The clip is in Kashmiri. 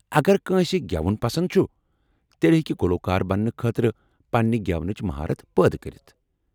اگر کٲنٛسہ گٮ۪وُن پسند چُھ، تیٚلہ ہیٚکہ گلوکار بننہٕ خٲطرٕ پننہِ گٮ۪ونٕچ مہارت پٲدٕ کٔرِتھ ۔